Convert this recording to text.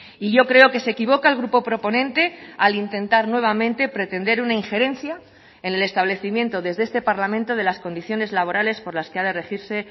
y yo creo que se equivoca el grupo proponente al intentar nuevamente pretender una injerencia en el establecimiento desde este parlamento de las condiciones laborales por las que ha de regirse